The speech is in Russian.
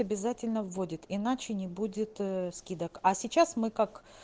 обязательно водит иначе не будет скидок а сейчас мы как